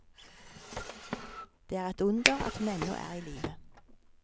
Det er et under at hun ennå er i live.